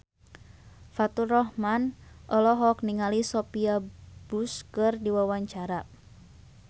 Faturrahman olohok ningali Sophia Bush keur diwawancara